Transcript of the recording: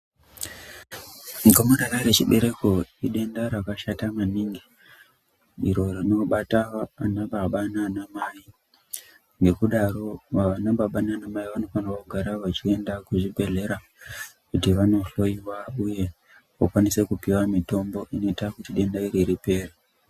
Gomarara rechibereko idenda rakashata maningi iro rinobata anababa nanamai, ngekudaro anababa nanamai vanofana kugara vachienda kuchibhedhleya kuti vanohloyiwa uye vokwanisa kupiwa mitombo inoita kuti denda iri ripere.